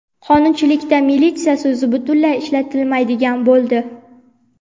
Qonunchilikda "militsiya" so‘zi butunlay ishlatilmaydigan bo‘ldi.